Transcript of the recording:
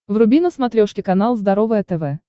вруби на смотрешке канал здоровое тв